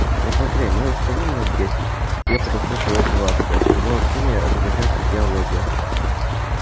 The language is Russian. вот смотри мы тут стоим минуть десять к тебе подошло уже человек двадцать а все общение заключается в диалоге